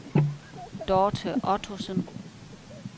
Dorte Ottosen